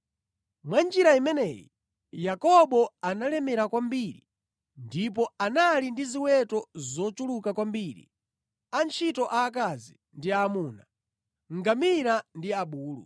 Mwa njira imeneyi, Yakobo analemera kwambiri ndipo anali ndi ziweto zochuluka kwambiri, antchito aakazi ndi aamuna, ngamira ndi abulu.